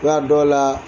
Wa a dɔw la